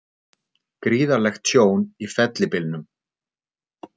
Gríðarlegt tjón í fellibylnum